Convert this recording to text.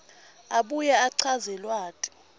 abuye achaze lwati